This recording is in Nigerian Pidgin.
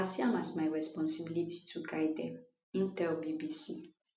i see am as my responsibility to guide dem im tell bbc